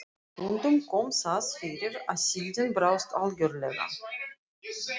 Stundum kom það fyrir að síldin brást algjörlega.